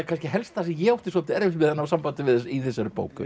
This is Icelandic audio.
kannski helst sem ég átti svolítið erfitt með að ná sambandi við í þessari bók